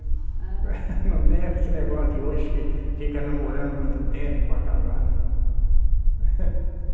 Não tem esse negócio de hoje que fica namorando muito tempo para casar, não.